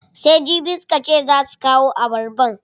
Sai jibi suka ce zaa su kawo abarbar?